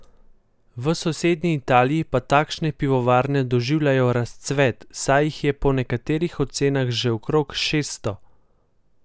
V sosednji Italiji pa takšne pivovarne doživljajo razcvet, saj jih je po nekaterih ocenah že okrog šeststo.